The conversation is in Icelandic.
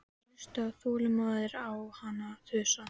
Þeir hlustuðu þolinmóðir á hana þusa.